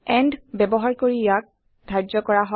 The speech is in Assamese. এণ্ড ব্যৱহাৰ কৰি ইয়াক ধাৰ্য্য কৰা হয়